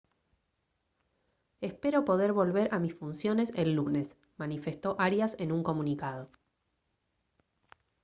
«espero poder volver a mis funciones el lunes» manifestó arias en un comunicado